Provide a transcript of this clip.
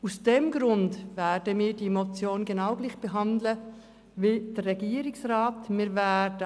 Aus diesem Grund werden wir diese Motion genauso behandeln, wie es der Regierungsrat empfiehlt.